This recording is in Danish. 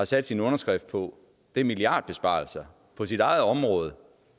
sat sin underskrift på er milliardbesparelser på sit eget område